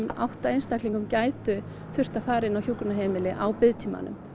átta gætu þurft að fara inn á hjúkrunarheimili á biðtímanum